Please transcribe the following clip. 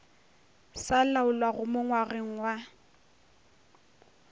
sa laolwago mo ngwageng wa